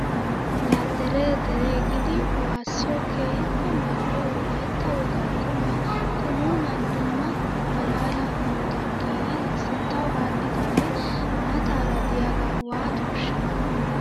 Laa deree deree giidi waassiyoo keehippe mal'iyaa wolayitta wogaa qumayi qunuunan dumma maalaala hanotan giigi sinttawu aadhidaagee maattaara diyaaga waatooshshaa?